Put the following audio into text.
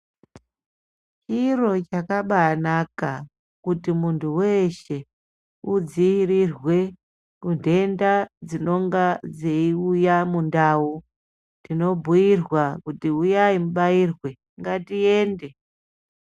Chiro chakabanaka kuti muntu weshe udziirirwe kuntenda dzinonga dzeiuya mundau ...Tinobhuyirwa kuti uyai mubairwe, ngatiende.